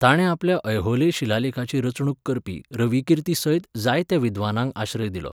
ताणें आपल्या ऐहोले शिलालेखाची रचणूक करपी रविकीर्तीसयत जायत्या विद्वानांक आश्रय दिलो.